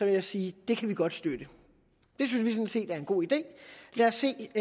jeg sige at det kan vi godt støtte det synes vi er en god idé lad os se